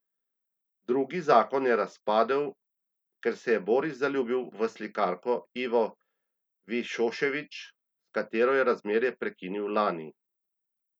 Drugi zakon je razpadel, ker se je Boris zaljubil v slikarko Ivo Višošević, s katero je razmerje prekinil lani.